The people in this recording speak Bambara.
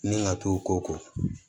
Ni ka t'o ko